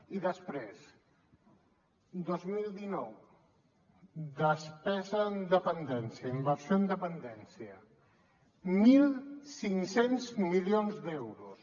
i després dos mil dinou despesa en dependència inversió en dependència mil cinc cents milions d’euros